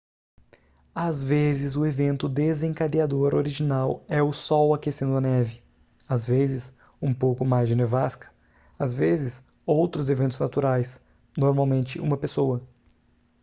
às vezes o evento desencadeador original é o sol aquecendo a neve às vezes um pouco mais de nevasca às vezes outros eventos naturais normalmente uma pessoa